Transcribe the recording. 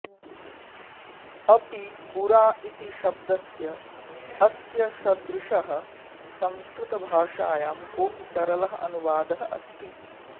अपि बुरा इति शब्दस्य अस्य सदृशः संस्कृतभाषायां कोऽपि सरलः अनुवादः अस्ति